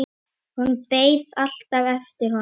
Hún beið alltaf eftir honum.